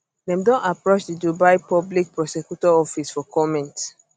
dem don approach di dubai public prosecutor office for comment